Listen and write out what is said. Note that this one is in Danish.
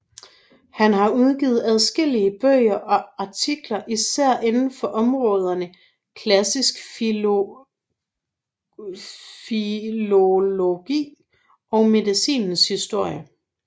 Han har udgivet adskillige bøger og artikler især inden for områderne klassisk filologi og medicinens historie